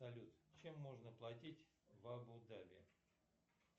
салют чем можно платить в абу даби